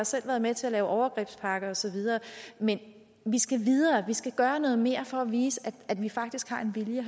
selv været med til at lave overgrebspakke og så videre men vi skal videre og vi skal gøre noget mere for at vise at vi faktisk har en vilje